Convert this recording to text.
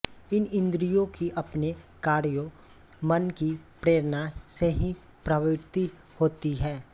इन इंद्रियों की अपने कार्यों मन की प्रेरणा से ही प्रवृत्ति होती है